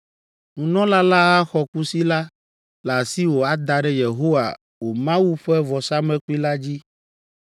Nunɔla la axɔ kusi la le asiwò ada ɖe Yehowa wò Mawu ƒe vɔsamlekpui la dzi.